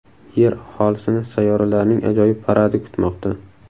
Yer aholisini sayyoralarning ajoyib paradi kutmoqda.